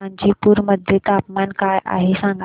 गाझीपुर मध्ये तापमान काय आहे सांगा